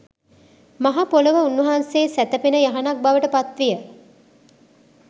මහ පොළොව උන්වහන්සේ සැතපෙන යහනක් බවට පත්විය.